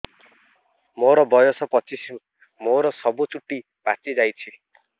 ମୋର ବୟସ ପଚିଶି ମୋର ସବୁ ଚୁଟି ପାଚି ଯାଇଛି